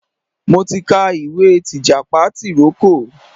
Mo ti ka ìwé tìjàpá tìrókò.